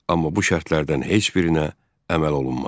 Amma bu şərtlərdən heç birinə əməl olunmadı.